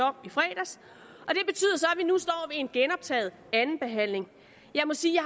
om i fredags og en genoptaget anden behandling jeg må sige